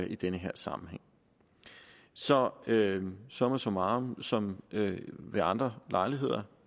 i den her sammenhæng så summa summarum som ved andre lejligheder